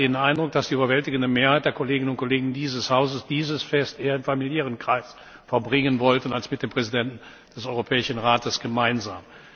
Ich hatte den Eindruck, dass die überwältigende Mehrheit der Kolleginnen und Kollegen dieses Hauses dieses Fest eher im familiären Kreis verbringen wollte, als mit dem Präsidenten des Europäischen Rates gemeinsam.